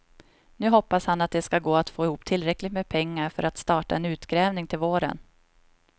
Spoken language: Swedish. Nu hoppas han att det ska gå att få ihop tillräckligt med pengar för att starta en utgrävning till våren.